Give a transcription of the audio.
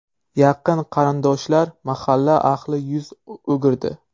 Yaqin qarindoshlar, mahalla ahli yuz o‘girdi.